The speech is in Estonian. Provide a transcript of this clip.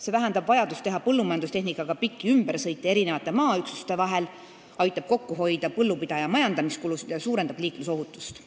See vähendab vajadust teha põllumajandustehnikaga pikki ümbersõite maaüksuste vahel, aitab kokku hoida põllupidaja majandamiskulusid ja suurendab liiklusohutust.